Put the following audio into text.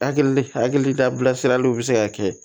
Hakili hakili la bilasiraliw bɛ se ka kɛ